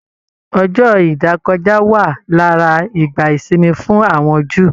Ọjọ ìdákọja wa lára ìgbà ìsinmi fún àwọn Júù.